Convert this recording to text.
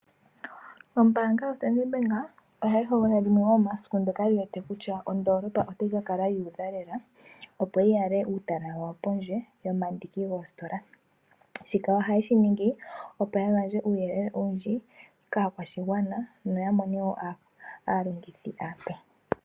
Ombaanga yoStandard Bank ohayi hogolola limwe lyomomasiku ndoka yiwete kutya ondoolopa otayi kakala yuudha lela opo yi yale uutala wayo pondje yomandiki goositola, shika ohayeshiningi opo yagandje uuyelele owundji kaakwashigwana noyamone wo aalongithi aape.